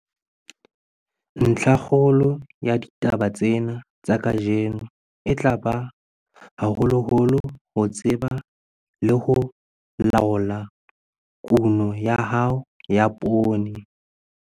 Ntlhakgolo ya ditaba tsena tsa kajeno e tla ba haholoholo ho tseba le ho laola kuno ya hao ya poone.